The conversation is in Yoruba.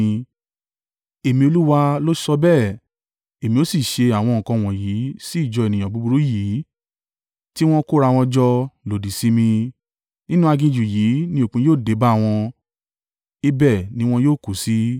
Èmi, Olúwa, lo sọ bẹ́ẹ̀; Èmi ó sì ṣe àwọn nǹkan wọ̀nyí sí ìjọ ènìyàn búburú yìí tí wọ́n kó ra wọn jọ lòdì sí mi. Nínú aginjù yìí ni òpin yóò dé bá wọn, ibẹ̀ ni wọn yóò kú sí.”